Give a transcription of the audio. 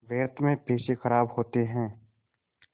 व्यर्थ में पैसे ख़राब होते हैं